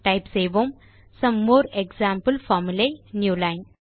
type செய்வோம் some more example folmulae newline